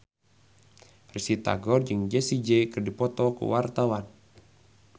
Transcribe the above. Risty Tagor jeung Jessie J keur dipoto ku wartawan